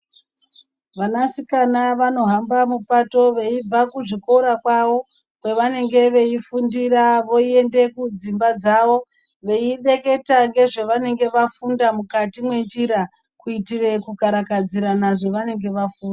Vanasikana vanohamba mupato veibva kuzvikora kwavo zvavanenge veifundira voende kudzimba dzavo veireketa nezvavanenge vafunda mukati mwenjira kuitire kukarakadzirana zvavanenge vafunda.